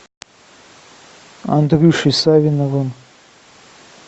андрюшей савиновым